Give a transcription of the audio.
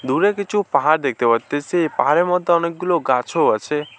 দূরে কিছু পাহাড় দেখতে পারতাছি পাহাড়ের মধ্যে অনেকগুলো গাছও আছে।